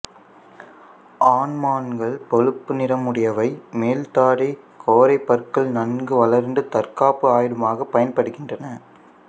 ஆண்மான்கள் பழுப்பு நிறமுறடையவை மேல் தாடைக் கோரைப்பற்கள் நன்கு வளர்ந்து தற்காப்பு ஆயுதமாக பயன்படுகின்றன